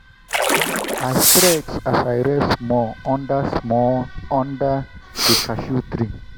i stretch as i rest small under small under the cashew tree.